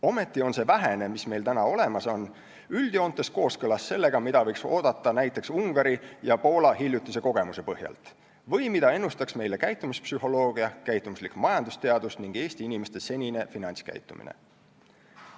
Ometi on see vähene, mis meil on olemas, üldjoontes kooskõlas sellega, mida võiks oodata näiteks Ungari ja Poola hiljutise kogemuse põhjal või mida ennustaks meile käitumispsühholoogia, käitumuslik majandusteadus ning Eesti inimeste senine finantskäitumine.